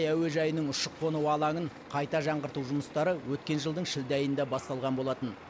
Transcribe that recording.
әуежайының ұшып қону алаңын қайта жаңғырту жұмыстары өткен жылдың шілде айында басталған болатын